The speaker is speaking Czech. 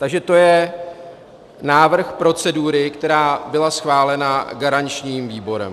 Takže to je návrh procedury, která byla schválena garančním výborem.